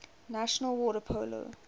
national water polo